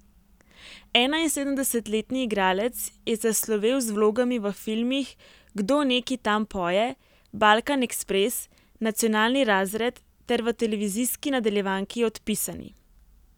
Enainsedemdesetletni igralec je zaslovel z vlogami v filmih Kdo neki tam poje, Balkan Ekspres, Nacionalni razred ter v televizijski nadaljevanki Odpisani.